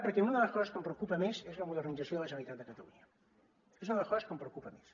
perquè una de les coses que em preocupa més és la modernització de la generalitat de catalunya és una de les coses que em preocupa més